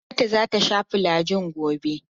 Hannatu za ta sha filajil gobe.